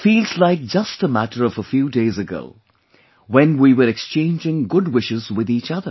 It feels like just a matter of a few days ago when we were exchanging good wishes with each other